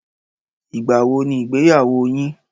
Ìgbà wo ni ìgbéyàwó yín?